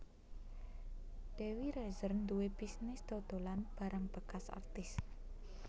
Dewi Rezer nduwe bisnis dodolan barang bekas artis